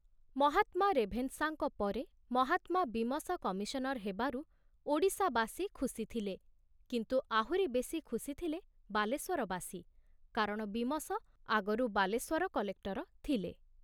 ମହାତ୍ମା ରେଭେନଶାଙ୍କ ପରେ ମହାତ୍ମା ବୀମସ କମିଶନର ହେବାରୁ ଓଡ଼ିଶା ବାସୀ ଖୁସି ଥିଲେ, କିନ୍ତୁ ଆହୁରି ବେଶି ଖୁସି ଥିଲେ ବାଲେଶ୍ଵରବାସୀ, କାରଣ ବୀମସ ଆଗରୁ ବାଲେଶ୍ୱର କଲେକ୍ଟର ଥିଲେ।